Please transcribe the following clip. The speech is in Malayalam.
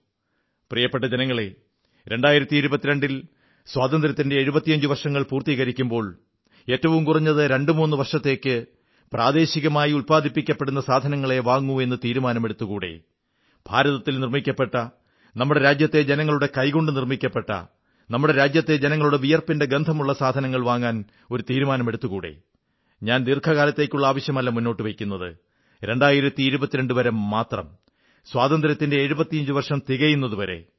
പ്രിയപ്പെട്ട ജനങ്ങളേ 2022 ൽ സ്വാതന്ത്ര്യത്തിന്റെ 75 വർഷങ്ങൾ പൂർത്തീകരിക്കുമ്പോൾ ഏറ്റവും കുറഞ്ഞത് രണ്ടുമൂന്നു വർഷത്തേക്ക് പ്രാദേശികമായി ഉത്പാദിപ്പിക്കപ്പെടുന്ന സാധനങ്ങളേ വാങ്ങൂ എന്ന് തീരുമാനമെടുത്തുകൂടേ ഭാരതത്തിൽ നിർമ്മിക്കപ്പെട്ട നമ്മുടെ രാജ്യത്തെ ജനങ്ങളുടെ കൈകകൊണ്ടു നിർമ്മിക്കപ്പെട്ട നമ്മുടെ രാജ്യത്തെ ജനങ്ങളുടെ വിയർപ്പിന്റെ ഗന്ധമുള്ള സാധനങ്ങൾ വാങ്ങാൻ തീരുമാനമെടുത്തുകൂടേ ഞാൻ ദീർഘകാലത്തേക്കുള്ള ആവശ്യമല്ല മുന്നോട്ടു വയ്ക്കുന്നത് 2022 വരെ മാത്രം സ്വാതന്ത്ര്യത്തിന്റെ 75 വർഷം തികയുന്നതു വരെ